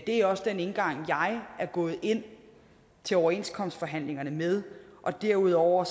er også den indgang som jeg er gået ind til overenskomstforhandlingerne med derudover